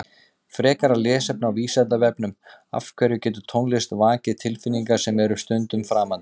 Frekara lesefni á Vísindavefnum Af hverju getur tónlist vakið tilfinningar sem eru stundum framandi?